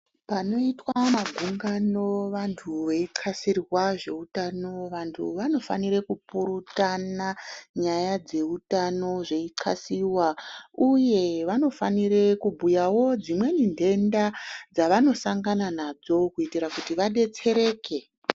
Panoitwa magungano vantu veixasirwa zveutano vantu vanofanire kupurutana nyaya dzeutano zveixasiwa uye vanofanire kubhuyawo dzimweni ndenda dzavanosangana nadzo kuitira kuti vadetsereke.